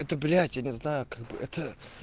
это блять я не знаю как бы это